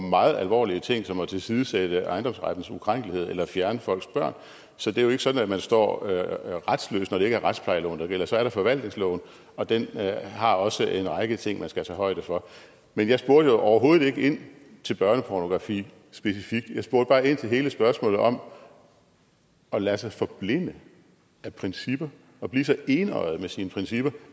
meget alvorlige ting som at tilsidesætte ejendomsrettens ukrænkelighed eller fjerne folks børn så det er jo ikke sådan at man står retsløs når det ikke er retsplejeloven der gælder så er der forvaltningsloven og den har også en række ting man skal tage højde for men jeg spurgte jo overhovedet ikke ind til børnepornografi specifikt jeg spurgte bare ind til hele spørgsmålet om at lade sig forblænde af principper og blive så enøjet med sine principper